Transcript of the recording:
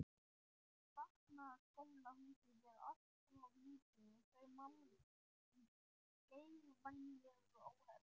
Barnaskólahúsið er alltof lítið og þau mál í geigvænlegu óefni.